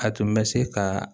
A tun bɛ se ka